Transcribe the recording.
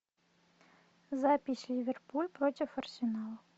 запись ливерпуль против арсенала